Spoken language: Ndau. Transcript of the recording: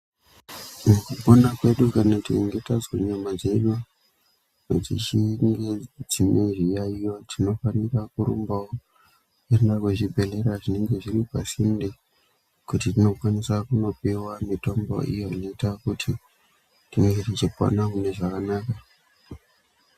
Mukupona kwedu kana tichinge tazwa nyama dzedu dzichinge dzine zviyaiyo tinofanira kurumbawo kuenda kuzvibhledhlera zvinenge zviri pasinde kuti tinokwanisa kunopuwa mitombo iyo inoite kuti tinge tichikwanisa kupona zvakanaka.